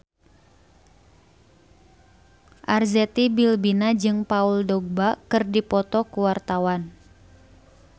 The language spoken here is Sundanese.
Arzetti Bilbina jeung Paul Dogba keur dipoto ku wartawan